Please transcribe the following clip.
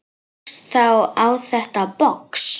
Rakst þá á þetta box.